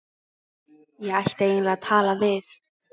Ég ætti eiginlega að tala við